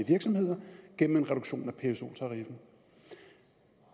tænke